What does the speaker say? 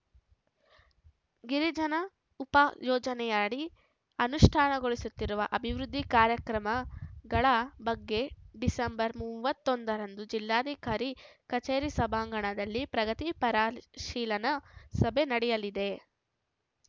ಗಿರಿಜನ ಉಪ ಯೋಜನೆಯಡಿ ಅನುಷ್ಟಾನಗೊಳಿಸುತ್ತಿರುವ ಅಭಿವೃದ್ಧಿ ಕಾರ್ಯಕ್ರಮಗಳ ಬಗ್ಗೆ ಡಿಸೆಂಬರ್ ಮೂವತ್ತೊಂದರಂದು ಜಿಲ್ಲಾಧಿಕಾರಿ ಕಚೇರಿ ಸಭಾಂಗಣದಲ್ಲಿ ಪ್ರಗತಿ ಪರಾ ಶೀಲನಾ ಸಭೆ ನಡೆಯಲಿದೆ